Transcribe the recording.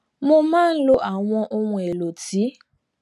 mo máa ń lo àwọn ohun èèlò tí